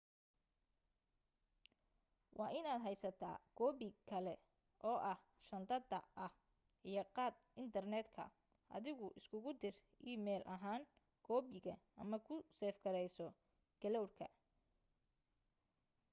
waa in aad heysata koobi kale oo ah shandada ah iyo qad intarneet ah adigu isugu dir e-mail ahaan koobiga ama ku seef gareyso cloud ka”